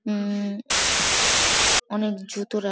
উমম অনেক জুতো রা --